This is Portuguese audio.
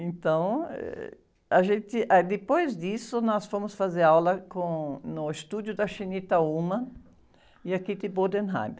Então, ãh, a gente, ah, depois disso, nós fomos fazer aula com, no estúdio da e a.